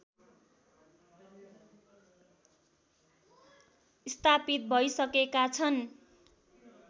स्थापित भइसकेका छन्